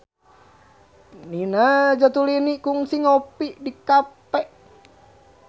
Nina Zatulini kungsi ngopi di cafe